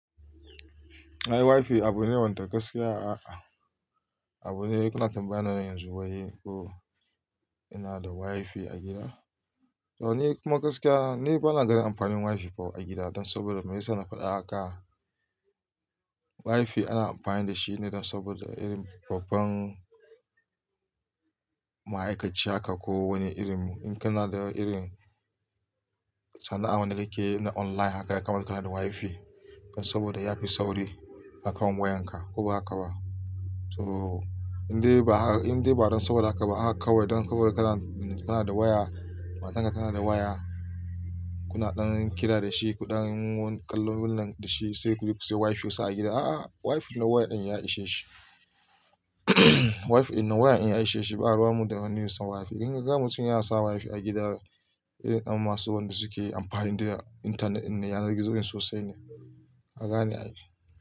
Ai WiFi abu ne wanda gaskiya a'a, abu ne kuna tambayana yanzu wai ko ina da WiFi a gida? To ni kuma gaskiya ni bana ganin amfanin WiFi a gida don saboda me yasa na faɗa haka, WiFi ana amfani da shi ne don saboda irin babban ma'aikaci haka ko wani irin in kana da irin sana'a wanda kake yi online haka ya kamata kana da WiFi. Don saboda ya fi sauri a kan wayanka ko ba haka ba. To indai ba don saboda haka ba haka kawai don saboda ka na da waya, matanka tana da waya, kuna ɗan kira da shi, kuɗan kallon wannan da shi sai ku je ku sayi WiFi ku sa a gida. A'a WiFi na wayar ɗin ya ishe shi. WiFi na wayar ɗin ya ishe shi, ba ruwan mun da wani a sa WiFi. In ka ga mutum yana sa WiFi a gida sai ka ga masu wanda suke amfani da internet ɗin na yanar gizo sosai ne, ka gane ae.